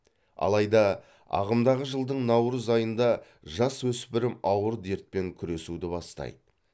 алайда ағымдағы жылдың наурыз айында жасөспірім ауыр дертпен күресуді бастайды